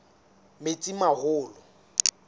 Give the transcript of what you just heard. metsimaholo